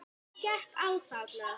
En hvað gekk á þarna?